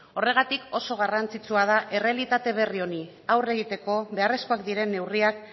horregatik oso garrantzitsua da errealitate berri honi aurre egiteko beharrezkoak diren neurriak